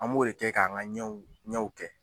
An b'o de kɛ k'an ŋa ɲɛw ɲɛw kɛ